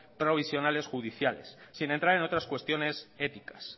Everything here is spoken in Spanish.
provisionales judiciales sin entrar en otras cuestiones éticas